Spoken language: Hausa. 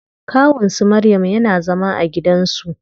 Kawun su maryam yana zama a gidan su.